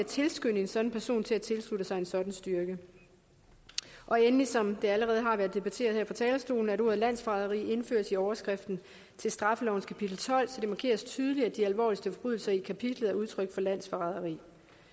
tilskynde en sådan person til at tilslutte sig en sådan styrke endelig som det allerede har været debatteret her fra talerstolen er formålet at ordet landsforræderi indføres i overskriften til straffelovens kapitel tolv så det markeres tydeligt at de alvorligste forbrydelser i kapitlet er udtryk for landsforræderi